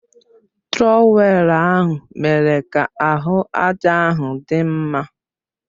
Trọwèlu ahụ mere ka ahụ àjà ahụ dị mma